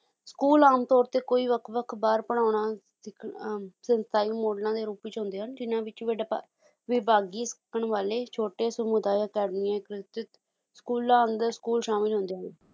school ਆਮ ਤੌਰ ਤੇ ਕੋਈ ਵੱਖ ਵੱਖ ਵਾਰ ਪੜ੍ਹਾਉਣਾ ਸਿੱਖਣਾ ਅਹ ਸੰਸਥਾਈ ਮੋਡਲਾਂ ਦੇ ਰੂਪ ਵਿੱਚ ਹੁੰਦੇ ਹਨ ਜਿੰਨਾਂ ਵਿੱਚ ਵੱਡੇ ਵਿਭਾਗੀ ਸਿੱਖਣ ਵਾਲੇ ਛੋਟੇ ਸਮੁਦਾਇ ਅਕੈਡਮੀਆਂ ਸਕੂਲਾਂ ਅੰਦਰ school ਸ਼ਾਮਿਲ ਹੁੰਦੇ ਹਨ